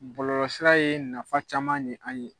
Bɔlɔlɔsira ye nafa caman ɲe an ɲe